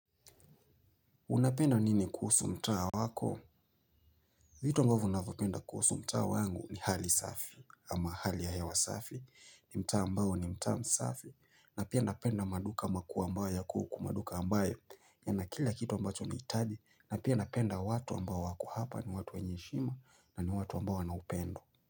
Unapenda nini kuhusu mtaa wako? Vitu ambavyo navyopenda kuhusu mtaa wangu ni hali safi ama hali ya hewa safi. Ni mtaa ambao ni mtaa msafi. Na pia napenda maduka makubwa ambayo ya kuku maduka ambayo. Yana kila kitu ambacho ni hitadi. Na pia napenda watu ambao wako hapa ni watu wenye heshima na ni watu ambao wana upendo.